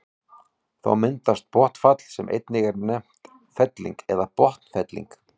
þá myndast botnfall sem einnig er nefnt felling eða botnfelling